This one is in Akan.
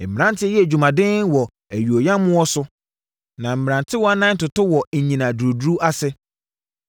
Mmeranteɛ yɛ adwuma den wɔ ayuoyammoɔ so; na mmerantewaa nan toto wɔ nnyina duruduru ase.